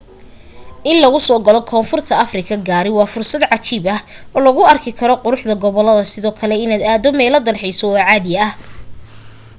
in lagu soo galo koonfurta afrika gaari waa fursad cajiib ah oo lagu arki karo quruxda goboladda sidoo kale inaad aado meelo dalxiiso oo caadi ah